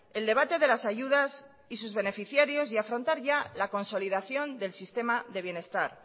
el debate de las ayudas y sus beneficiarios y afrontar ya la consolidación del sistema de bienestar